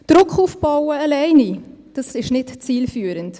Druck aufbauen alleine, das ist nicht zielführend.